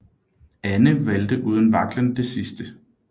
Anne valgte uden vaklen det sidste